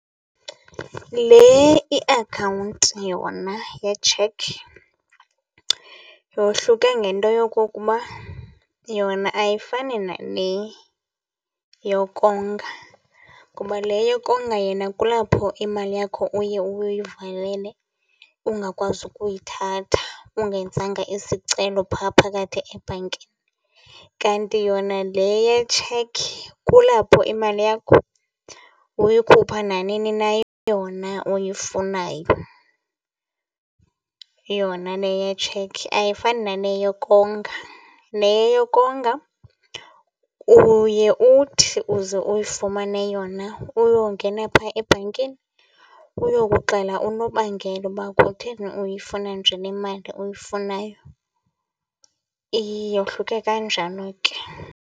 Le iakhawunti yona yetshekhi yahluke ngento yokokuba yona ayifani nale yokonga ngoba le yokonga yona kulapho imali yakho uye uyivalele ungakwazi ukuyithatha ungenzanga isicelo phaa phakathi ebhankini. Kanti yona le yetshekhi kulapho imali yakho uyikhupha nanini na yona uyifunayo, yona le yetshekhi ayifani nale yokonga. Le yokonga uye uthi uze uyifumane yona uyongena phaa ebhankini uyokuxela unobangela uba khutheni uyifuna nje le mali uyifunayo. Yohluke kanjalo ke.